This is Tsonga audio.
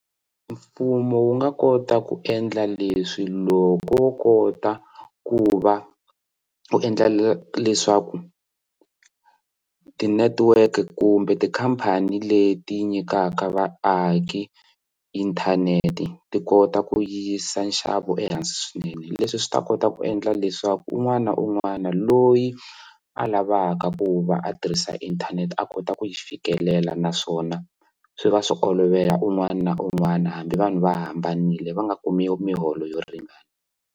Mfumo wu nga kota ku endla leswi loko wo kota ku va u endla leswaku ti-network kumbe tikhampani leti yi nyikaka vaaki inthanete ti kota ku yisa nxavo ehansi swinene leswi swi ta kota ku endla leswaku un'wana na un'wana loyi a lavaka ku va a tirhisa inthanete a kota ku yi fikelela naswona swi va swi olovela un'wana na un'wana hambi vanhu va hambanile va nga kumi miholo yo ringana.